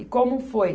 E como foi?